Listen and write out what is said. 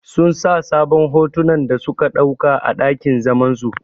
Sun sa sabon hotunan da suka ɗauka a ɗakin zaman su.